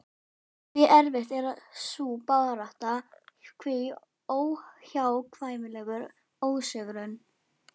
Hve erfið er sú barátta, hve óhjákvæmilegur ósigurinn.